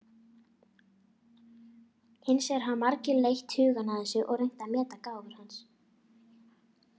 Hins vegar hafa margir leitt hugann að þessu og reynt að meta gáfur hans.